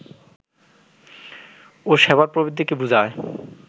ও সেবার প্রবৃদ্ধিকে বোঝায়